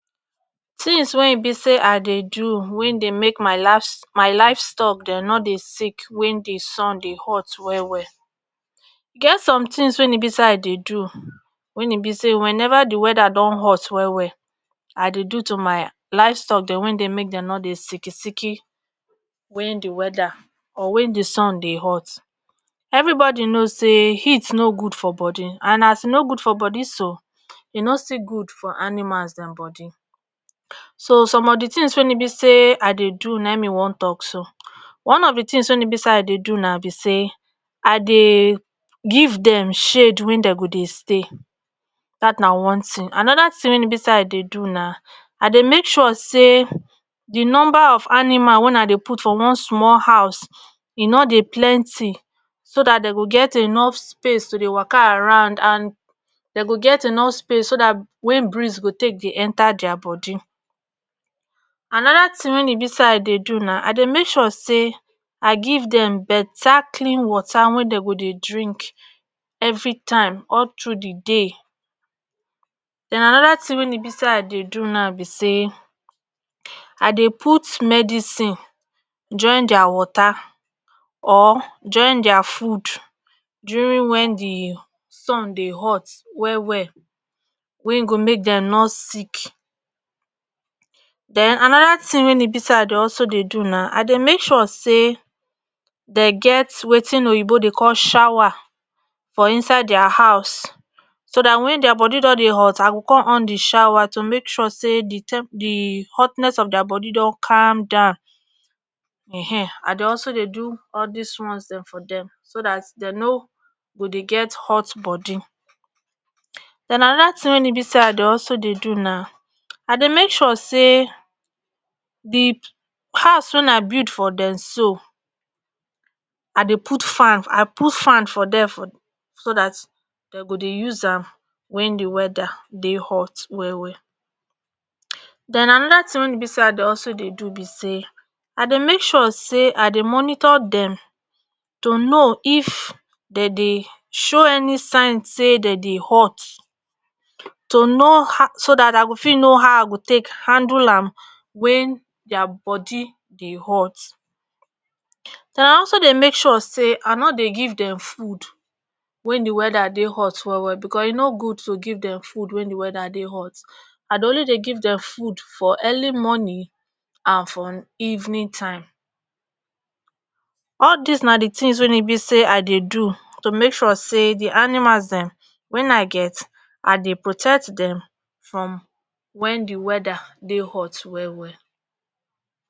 tins wen e be say i dey do wey dey make my lafs my lifes tok dem not dey sick wen de sun dey hot well well e get some tins wey e be say i dey do wen e be say wen ever di weda don hot well well i dey do to my life stock dem wen dem make dey no dey siki siki wen de weda or wen di sun dey hot everibodi know say heat no good for body and as e no good for bodi so e no still good for animals den bodi so som of di tins wey e be say wey e be say i dey do nai me wan tok so one of di tins wey i dey do na be say i dey give dem shade wey dem go stay dat na one tin. anoda tin wen e be say i dey do na i dey make sure say di numba of animal wey i dey put for one small house e no dey plenty so dat den go get enough space to dey waka around and den go get enough space so dat wen breeze go take dey enter dier bodi. anoda tin wey e be say i dey do na i dey make sure say i giv dem better klin water wey den go dey drink everytime all tru di day. en anoda tin wey e be say i dey do na be say i dey put medicin join dier water or join dier food durin wen di sun dey hot well well wen go make dem nor sick. den anoda tin wey e be say i dey also dey do i dey make sure den get watin oyibo dey call shower for inside dier house so dat wen dier body don dey hot i go con on di shower to make sure say di tem di hotness of dier bodi don cam down[um]ehn i dey also dey do all dis ones den for dem so dat den no go dey get hot body. den anoda tin wey e be say i dey also dey do, i dey mae sure say di house wey i bid for dem so i dey put fan i put fan for dem so dat den go dey use am wen di weda dey hot well well. den anoda tin wey e be say i dey also dey do be say i dey make sure say i dey monitor dem to no if dem dey show any sign say den dey hot to no ah so dat i go fit no how i go take handle am wen dier body dey hot ah also dey make sure ah no dey give dem food wen di weda dey hot well well bcos e no good tu giv dem food wen di weda dey hot i dey only dey give dem food for early mornin and for evenin time all dis na di tins wey be say i dey do to make sure say di animals dem wen i get i dey protet dem from wen di weda dey hot well well